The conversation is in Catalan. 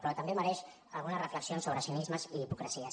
però també mereix algunes reflexions sobre cinismes i hipocresies